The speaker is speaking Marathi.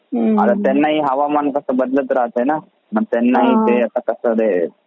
आता त्याना पण हवामान असा बदलत राहते ना मग त्याना हि मग कसा दयायचे ते